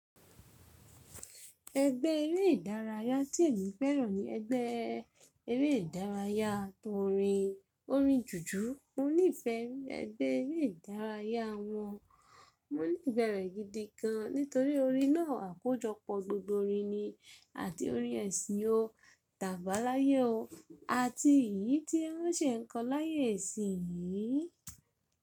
Ẹgbẹ́ eré ìdárayá tí èmi fẹ́ràn ni ẹgbẹ́ eré ìdárayá tó orin. Orin jùjú, mo nífẹẹ ẹgbẹ́ eré ìdárayá wọn. Mo nífẹ̀ẹ́ rẹ̀ gidi gan nítorí orin náà àkójọpọ̀ gbogbo orin ni àti orin ẹ̀sìn o, tàbáláyé o, àti èyí tí wọ́n ṣe ń kọ láyé isìn yíií.